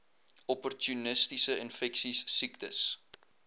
opportunistiese infeksies siektes